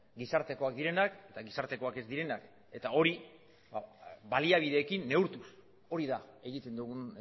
gizartekoak direnak eta gizartekoak ez direnak eta hori baliabideekin neurtuz hori da egiten dugun